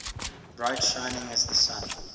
bright shining as the sun